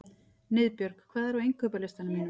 Niðbjörg, hvað er á innkaupalistanum mínum?